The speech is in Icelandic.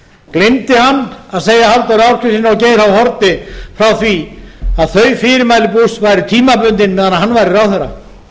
gleymdi hann að segja halldóri ásgrímssyni og geir h haarde frá því að þau fyrirmæli bush væru tímabundin meðan hann væri ráðherra